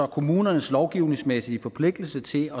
kommunernes lovgivningsmæssige forpligtelse til